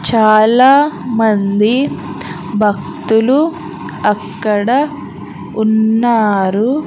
చాలా మంది భక్తులు అక్కడ ఉన్నారు.